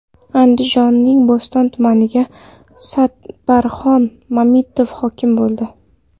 Andijonning Bo‘ston tumaniga Sadbarxon Mamitova hokim bo‘ldi.